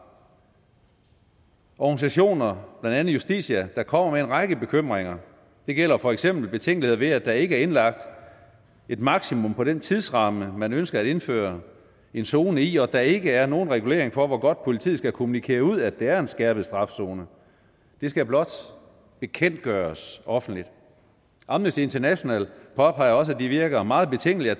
organisationer blandt andet justitia der kommer med en række bekymringer det gælder for eksempel betænkeligheder ved at der ikke er indlagt et maksimum på den tidsramme man ønsker at indføre en zone i og at der ikke er nogen regulering for hvor godt politiet skal kommunikere ud at det er en skærpet straf zone det skal blot bekendtgøres offentligt amnesty international påpeger også at det virker meget betænkeligt at